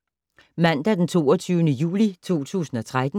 Mandag d. 22. juli 2013